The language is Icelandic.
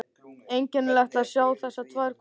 Einkennilegt að sjá þessar tvær konur saman.